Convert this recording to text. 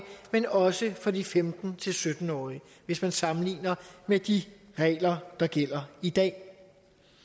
men også for de femten til sytten årige hvis man sammenligner med de regler der gælder i dag